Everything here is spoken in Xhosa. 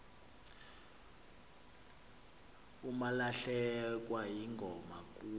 umalahlekwa yingoma kuh